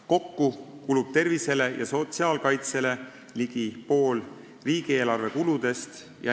Kokku kulub tervisele ja sotsiaalkaitsele ligi pool riigieelarve kuludest.